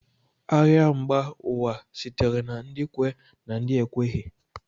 Agha mba ụwa sitere na ndị kwe na ndị ekweghị